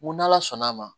Ko n'ala sɔnn'a ma